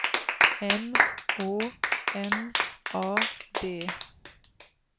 M Å N A D